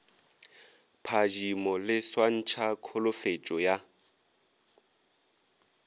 phadimo le swantšha kholofetšo ya